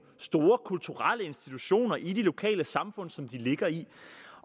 store kulturelle institutioner i de lokale samfund som de ligger i